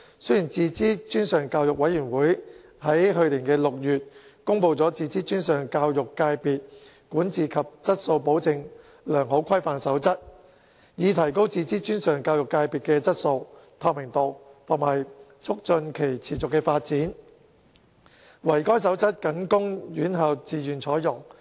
雖然自資專上教育委員會於去年6月公布《自資專上教育界別管治及質素保證良好規範守則》，以提高自資專上教育界別的質素、透明度及促進其持續發展，惟該守則僅供院校自願採用。